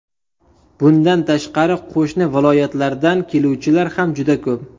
Bundan tashqari, qo‘shni viloyatlardan keluvchilar ham juda ko‘p.